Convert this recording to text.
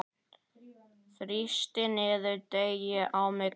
Þrýstu niður deigið á milli.